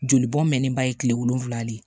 Joli bɔn mɛn ba ye kile wolonwula de